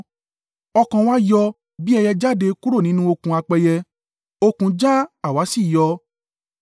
Ọkàn wa yọ bí ẹyẹ jáde kúrò nínú okùn apẹyẹ; okùn já àwa sì yọ.